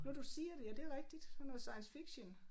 Nu du siger det ja det rigtigt sådan noget science fiction